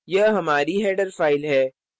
यह हमारी header file है